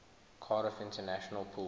cardiff international pool